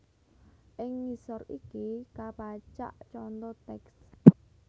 Ing ngisor iki kapacak conto tèks